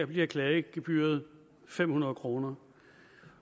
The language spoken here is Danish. bliver klagegebyret fem hundrede kroner